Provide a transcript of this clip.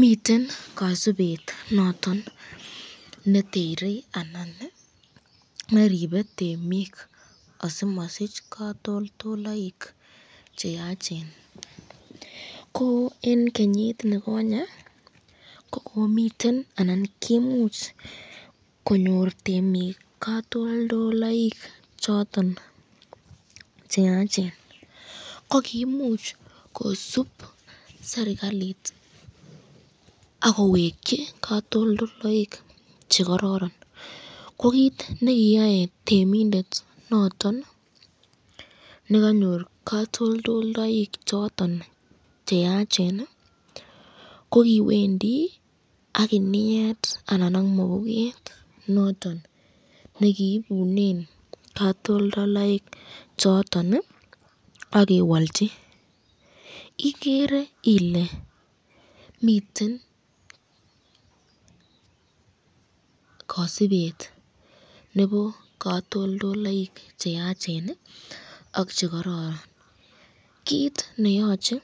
Miten kasubet noton netere anan neribe temik asimasich katoltolaik cheyachen, ko eng kenyit nikonye kokomiten anan koimuch , konyor temik katoltolaik choton cheyachen, ko koimuch kosubot serikalit akowekchi katoltolaik chekararan ,ko kit nekiyae temindet noton nekanyor katoldaik cheyachen, ko kiwendi ak kiniet anan ak mapuket noton nekiibunen katoltolaik choton akewalchi, igere Ile miten kasubet nebo katoltolaik cheyachen ak chekororon, kit neyache